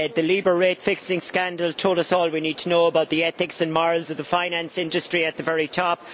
The LIBOR rate fixing scandal told us all we need to know about the ethics and morals of the finance industry at the very top.